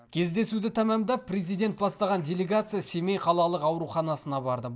кездесуді тәмамдап президент бастаған делегация семей қалалық ауруханасына барды